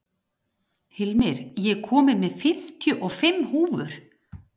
Hilmir, ég kom með fimmtíu og fimm húfur!